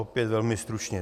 Opět velmi stručně.